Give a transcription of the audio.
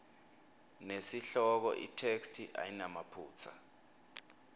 nesihloko itheksthi ayinamaphutsa